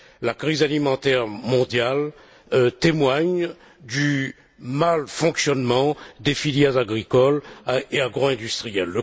La crise alimentaire mondiale témoigne du malfonctionnement des filières agricoles et agroindustrielles.